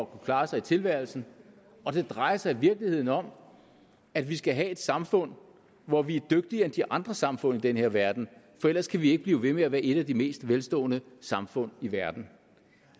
klare sig i tilværelsen det drejer sig i virkeligheden om at vi skal have et samfund hvor vi er dygtigere end de andre samfund i den her verden for ellers kan vi ikke blive ved med at være et af de mest velstående samfund i verden